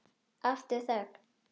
Aftur þögn.